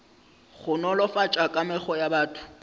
go nolofatša kamego ya batho